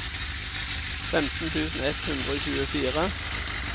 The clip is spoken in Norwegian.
femten tusen ett hundre og tjuefire